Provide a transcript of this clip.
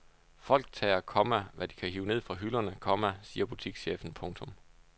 Folk tager, komma hvad de kan hive ned fra hylderne, komma siger butikschefen. punktum